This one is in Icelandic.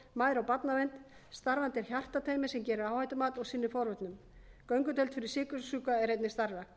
og barnavernd starfandi er hjartateymi sem gerir áhættumat og sinnir forvörnum göngudeild fyrir sykursjúka er einnig starfrækt